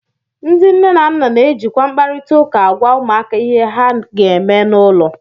Ndị nne na nna na-ejikwa mkparịta ụka agwa ụmụaka ihe ha ga-eme n'ụlọ